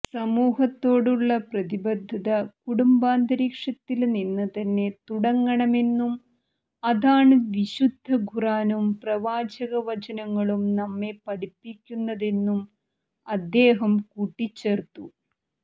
സമൂഹത്തോടുള്ള പ്രതിബദ്ധത കുടുംബാന്തരീക്ഷത്തില് നിന്ന് തന്നെ തുടങ്ങണമെന്നും അതാണ് വിശുദ്ധ ഖുര്ആനും പ്രവാചക വചനങ്ങളും നമ്മെ പഠിപ്പിക്കുന്നതെന്നും അദ്ദേഹം കൂട്ടിച്ചേര്ത്തു